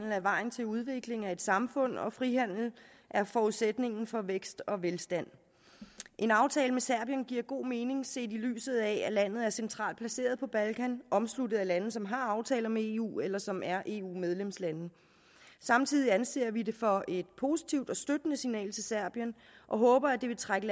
er vejen til udvikling af et samfund og frihandel er forudsætningen for vækst og velstand en aftale med serbien giver god mening set i lyset af at landet er centralt placeret på balkan omsluttet af lande som har aftaler med eu eller som er eu medlemslande samtidig anser vi det for et positivt og støttende signal til serbien og håber at det vil trække